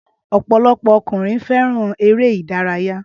Ọpọlọpọ ọkùnrin fẹ́ràn ère idàyàrá